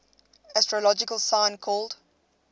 astrological sign called